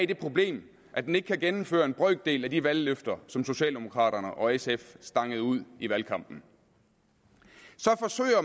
det problem at den ikke kan gennemføre en brøkdel af de valgløfter som socialdemokraterne og sf stangede ud i valgkampen